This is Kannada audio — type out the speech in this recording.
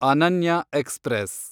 ಅನನ್ಯ ಎಕ್ಸ್‌ಪ್ರೆಸ್